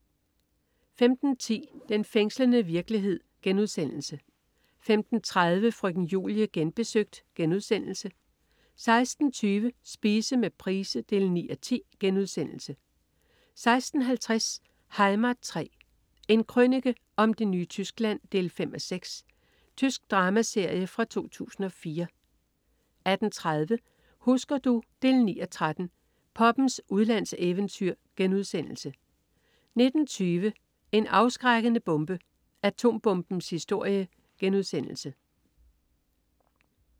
15.10 Den fængslende virkelighed* 15.30 Frøken Julie Genbesøgt* 16.20 Spise med Price 9:10* 16.50 Heimat 3. En krønike om det nye Tyskland 5:6. Tysk dramaserie fra 2004 18.30 Husker du? 9:13. Poppens udlandseventyr* 19.20 En afskrækkende bombe. Atombombens historie*